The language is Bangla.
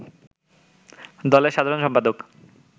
দলের সাধারণ সম্পাদক